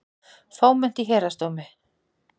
Fámennt í Héraðsdómi